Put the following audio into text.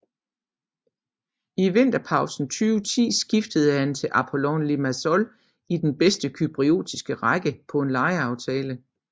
I vinterpausen 2010 skiftede han til Apollon Limassol i den bedste cypriotiske række på en lejeaftale